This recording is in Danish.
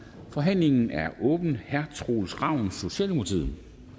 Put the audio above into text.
forhandlingen er åbnet herre troels ravn socialdemokratiet